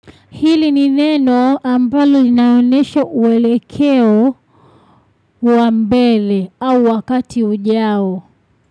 Hili ni neno ambalo inaonesha mwelekeo wa mbele au wakati ujao.